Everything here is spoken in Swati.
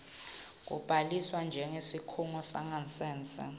kubhaliswa njengesikhungo sangasese